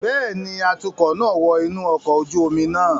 Bẹẹni, atukọ naa wọ inu ọkọ oju omi naa